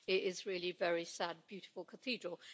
It is really very sad a beautiful cathedral.